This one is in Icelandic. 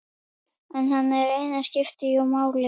Hann einn skipti jú máli.